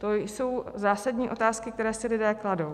To jsou zásadní otázky, které si lidé kladou.